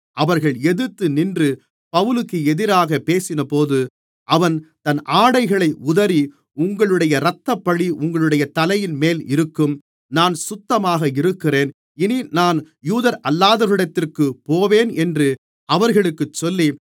அவர்கள் எதிர்த்து நின்று பவுலுக்கு எதிராகப் பேசினபோது அவன் தன் ஆடைகளை உதறி உங்களுடைய இரத்தப்பழி உங்களுடைய தலையின்மேல் இருக்கும் நான் சுத்தமாக இருக்கிறேன் இனி நான் யூதர்களல்லாதவரிடத்திற்கு போவேன் என்று அவர்களுக்குச் சொல்லி